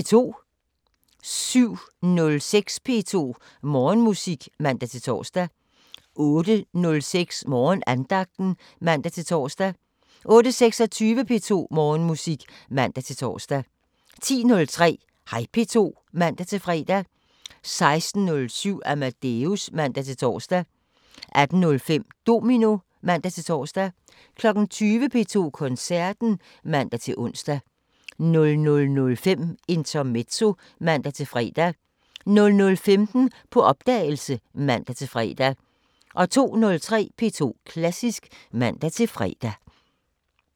07:06: P2 Morgenmusik (man-tor) 08:06: Morgenandagten (man-tor) 08:26: P2 Morgenmusik (man-tor) 10:03: Hej P2 (man-fre) 16:07: Amadeus (man-tor) 18:05: Domino (man-tor) 20:00: P2 Koncerten (man-ons) 00:05: Intermezzo (man-fre) 00:15: På opdagelse (man-fre) 02:03: P2 Klassisk (man-fre)